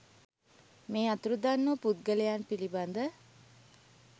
මේ අතුරුදන් වූ පුද්ගලයන් පිළිබඳ